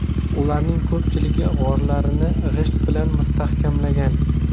Ularning ko‘pchiligi g‘orlarini g‘isht bilan mustahkamlagan.